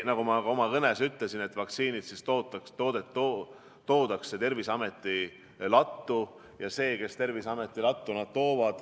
Nagu ma ka oma kõnes ütlesin, vaktsiinid tuuakse Terviseameti lattu.